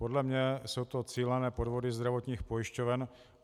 Podle mě jsou to cílené podvody zdravotních pojišťoven.